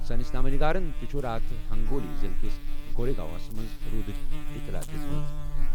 سٲنِس نامہ نگارَن تہِ چھُ راتھ ہنگولی ضلعہٕ کِس گورے گاوَس منٛز روٗدٕچ اطلاع دِژمٕژ۔